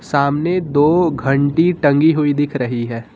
सामने दो घंटी टंगी हुई दिख रही है।